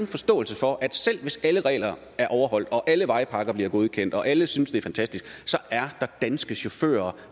forståelse for at selv hvis alle regler er overholdt og alle vejpakker bliver godkendt og alle synes det er fantastisk så er der danske chauffører